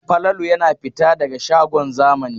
Falalu yana fita daga shagon zamani.